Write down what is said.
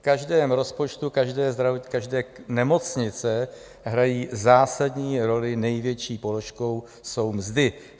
V každém rozpočtu každé nemocnice hrají zásadní roli, největší položkou jsou mzdy.